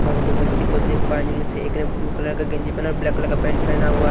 हम दो व्यक्ति देख पा रहे जिनमें से एक ने ब्लू कलर का गंजी पहना और ब्लैक कलर का पैंट हुआ--